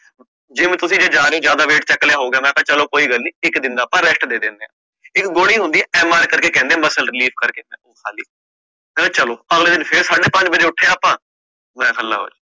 gym ਤੁਸੀਂ ਜੇ ਜਾਰੇ ਊ, ਜ਼ਿਆਦਾ wait ਚੱਕ ਲਿਆ ਹੋ ਗਯਾ ਕੋਈ ਨੀ ਇਕ ਦਿਨ ਦਾ ਆਪ rest ਦੇ ਦਿੰਦੇ ਆ ਇਕ ਗੋਲੀ ਹੁੰਦੇ ਆ MR ਕਰਕੇ ਹੁੰਦੀ muscle relief ਕਰਕੇ ਖਾਲੀ ਮੈਂ ਖ ਚਲੋ ਅਗਲੇ ਦਿਨ ਫਰ ਸਵੇਰੇ ਸਕਦੇ ਪੰਜ ਉਠਿਆ ਆਪਾ, ਮੈਂ ਕਹ ਲੋ ਜੀ